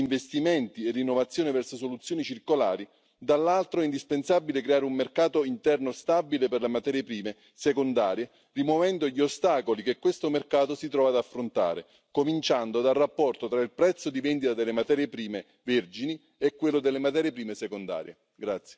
Je veux terminer par un mot concernant les mégots de cigarettes. Les gens ignorent que lorsqu'ils fument une cigarette, ils fument le plastique. Nous devons donc demander aux industriels d'en modifier